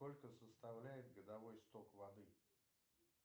сколько составляет годовой сток воды